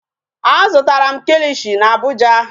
Azụtara m kikishi n'Abuja.